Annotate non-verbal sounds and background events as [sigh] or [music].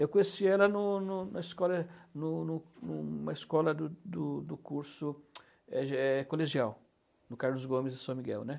Eu conheci ela em um em um na escola no no no na escola do do curso [unintelligible] é é colegial, do Carlos Gomes e São Miguel, né?